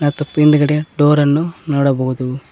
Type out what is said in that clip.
ಮತ್ತು ಪಿಂಡಗಡೆ ಡೋರ್ ನ್ನು ನೋಡಬಹುದು.